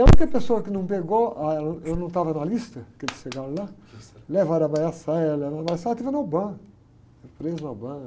E a única pessoa que não pegou, ah, eu não estava na lista, aqueles que chegaram lá, levaram a, levaram, esteve na, foi presa na.